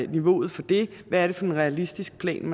niveauet for det hvad er det for en realistisk plan